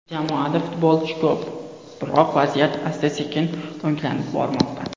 Jamoada futbolchi ko‘p, biroq vaziyat asta-sekin o‘nglanib bormoqda.